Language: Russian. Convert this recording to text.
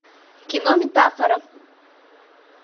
кино метафора